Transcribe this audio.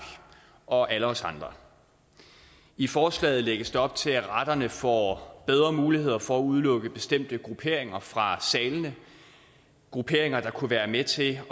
og alle os andre i forslaget lægges der op til at retterne får bedre muligheder for at udelukke bestemte grupperinger fra salene grupperinger der kunne være med til at